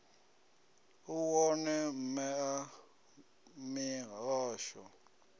u wone mme a mihasho